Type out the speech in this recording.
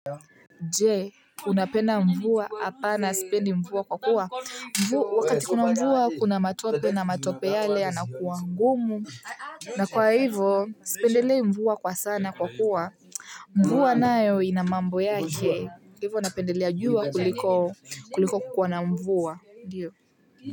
Je unapenda mvua? Apana sipendi mvua kwa kuwa wakati kuna mvua kuna matope na matope yale yanakuwa ngumu. Na kwa hivyo, sipendelei mvua kwa sana kwa kuwa mvua nayo ina mambo yake hivyo napendelea jua kuliko kuliko kukua na mvua ndiyo.